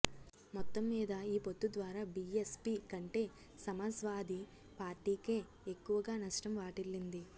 మొత్తం మీద ఈ పొత్తు ద్వారా బీఎస్పీ కంటే సమాజ్వాది పార్టీకే ఎక్కువగా నష్టం వాటిల్లింది